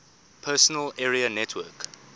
personal area network